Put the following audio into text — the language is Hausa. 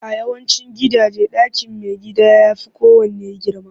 A yawancin gidaje, ɗakin maigida ya fi kowanne girma